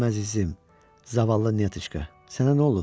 Mənim əzizim, zavallı Nitoçka, sənə nə olub?